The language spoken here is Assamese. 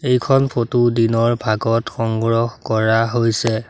এইখন ফটো দিনৰ ভাগত সংগ্ৰহ কৰা হৈছে।